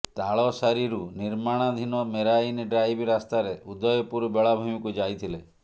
ତାଳସାରୀରୁ ନିର୍ମାଣାଧୀନ marine drive ରାସ୍ତାରେ ଉଦୟପୁର ବେଳାଭୂମିକୁ ଯାଇଥିଲେ